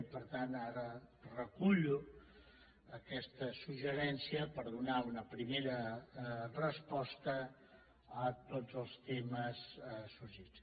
i per tant ara recullo aquest suggeriment per donar una primera resposta a tots els temes sorgits